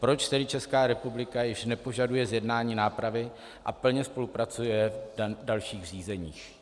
Proč tedy Česká republika již nepožaduje zjednání nápravy a plně spolupracuje v dalších řízeních?